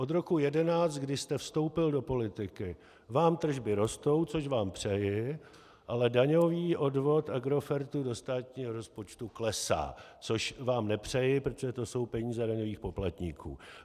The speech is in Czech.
Od roku 2011, kdy jste vstoupil do politiky, vám tržby rostou, což vám přeji, ale daňový odvod Agrofertu do státního rozpočtu klesá, což vám nepřeji, protože to jsou peníze daňových poplatníků.